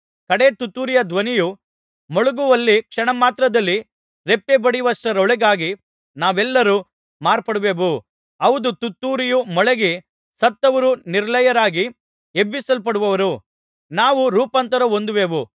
ಕಡೆ ತುತ್ತೂರಿಯ ಧ್ವನಿಯು ಮೊಳಗುವಲ್ಲಿ ಕ್ಷಣಮಾತ್ರದಲ್ಲಿ ರೆಪ್ಪೆಬಡಿಯುವಷ್ಟರೊಳಗಾಗಿ ನಾವೆಲ್ಲರೂ ಮಾರ್ಪಡುವೆವು ಹೌದು ತುತ್ತೂರಿಯು ಮೊಳಗಿ ಸತ್ತವರು ನಿರ್ಲಯರಾಗಿ ಎಬ್ಬಿಸಲ್ಪಡುವರು ನಾವು ರೂಪಾಂತರ ಹೊಂದುವೆವು